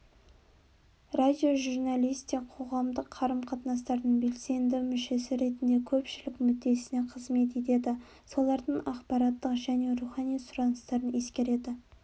радиожурналист те қоғамдық қарым-қатынастардың белсенді мүшесі ретінде көпшілік мүддесіне қызмет етеді солардың ақпараттық және рухани сұраныстарын ескереді